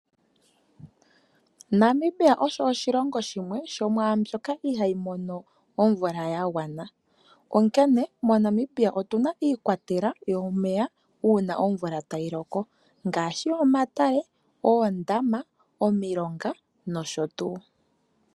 Namibia oshilongo shimwe shomwaandjo ka ihayi mono omvula ya gwana oonke moNamibia otunamo iikwatelwa uuna omvula tayiloko ngaashi omatale, oondama, omilongo nosho tuu.